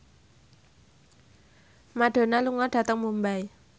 Madonna lunga dhateng Mumbai